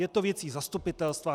Je to věcí zastupitelstva.